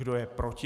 Kdo je proti?